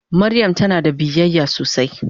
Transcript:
Mariam tana da biyayya sosai.